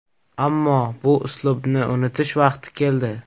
Ammo bu uslubni unutish vaqti keldi.